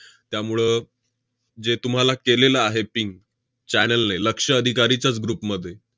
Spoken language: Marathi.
त्यामुळं जे तुम्हाला केलेलं आहे ping channel ने लक्ष्य अधिकारीच्याच group मध्ये,